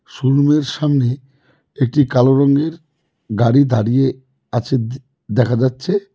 শোরুমের সামনে একটি কালো রঙের গাড়ি দাঁড়িয়ে আছে দে দেখা যাচ্ছে।